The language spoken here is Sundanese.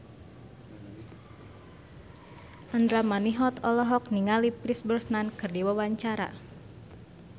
Andra Manihot olohok ningali Pierce Brosnan keur diwawancara